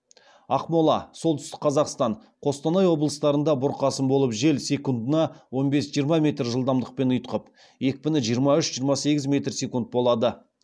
ақмола солтүстік қазақстан қостанай облыстарында бұрқасын болып жел секундына он бес жиырма метр жылдамдықпен ұйытқып екпіні жиырма үш жиырма сегіз метр секунд болады